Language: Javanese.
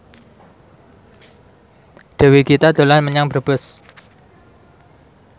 Dewi Gita dolan menyang Brebes